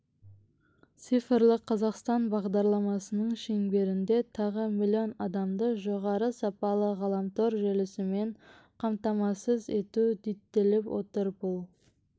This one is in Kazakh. цифрлық қазақстан бағдарламасының шеңберінде тағы миллион адамды жоғары сапалы ғаламтор желісімен қамтамасыз ету діттеліп отыр бұл